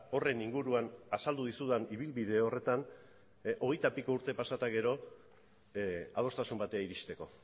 horren inguruan azaldu dizudan ibilbide horretan hogeita piko urte pasa eta gero adostasun batera iristeko